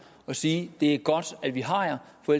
og sige det er godt at vi har jer for